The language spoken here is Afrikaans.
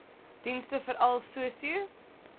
dienste veral sosio